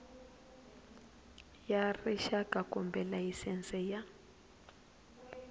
ya rixaka kumbe layisense ya